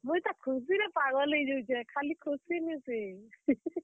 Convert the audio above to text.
ମୁଇଁ ତ ଖୁସି ରେ ପାଗଲ୍ ହେଇଯାଉଛେଁ। ଖାଲି ଖୁସି ନି ସେ।